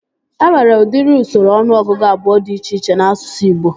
E nwere udiri usoro ọnụọgụgụ abụọ dị iche iche n'asụsụ Ịgbo